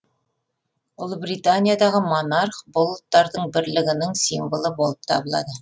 ұлыбританиядағы монарх бұл ұлттардың бірлігінің символы болып табылады